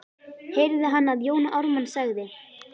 heyrði hann að Jón Ármann sagði.